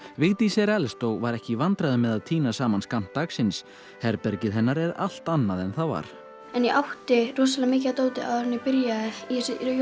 Vigdís er elst og var ekki í vandræðum með að tína saman skammt dagsins herbergið hennar er allt annað en það var en ég átti rosalega mikið af dóti áður en ég byrjaði í